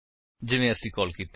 ਜਿਵੇਂ ਅਸੀਂ ਕਾਲ ਕੀਤੇ